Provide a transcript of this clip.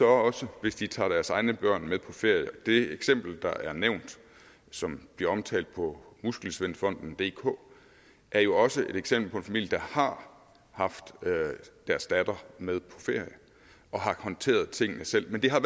også hvis de tager deres egne børn med på ferie det eksempel der er nævnt og som bliver omtalt på muskelsvindfondendk er jo også et eksempel på en familie der har haft deres datter med på ferie og har håndteret tingene selv men det har